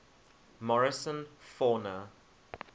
morrison fauna